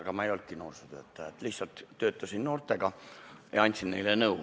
Aga ma ei olnudki noorsootöötaja, lihtsalt töötasin noortega ja andsin neile nõu.